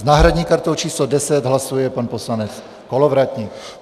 S náhradní kartou číslo 10 hlasuje pan poslanec Kolovratník.